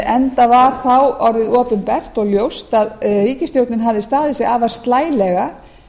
enda var þá orðið opinbert og ljóst að ríkisstjórnin hafði staðið sig afar slælega